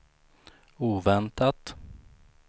oväntat